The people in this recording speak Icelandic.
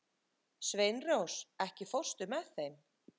Sveinrós, ekki fórstu með þeim?